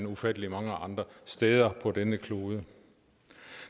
ufattelig mange andre steder på denne klode